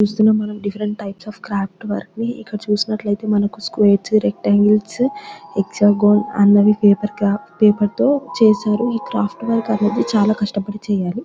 చూస్తున్నాం different types of craft work ని ఇక్కడ చూసినట్టైతే మనకిస్క్వేర్ రెక్టన్గ్లే అన్నవి పేపర్ కార్ట్ పేపర్ తో చేసారు ఈ క్రాఫ్ట్ వర్క్ అనేది చాలా కష్టబడి చెయ్యాలి.